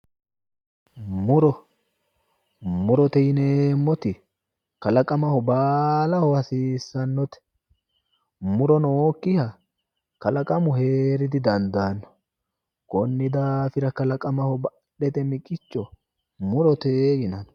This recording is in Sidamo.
Muro, murote yineemoti kalaqamaho baalaho hasiisanotte mu'ro nookiha kalaqamu heere didandaano konni daafira kalaqamaho badhete miqicho murote yinanni.